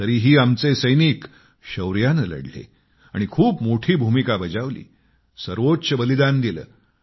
तरीही आमची सैनिक शौर्याने लढले आणि खूप मोठी भूमिका बजावली सर्वोच्च बलिदान दिले